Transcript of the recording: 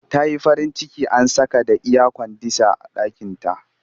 Ta yi farin ciki an saka da iyakwandisah a ɗakinta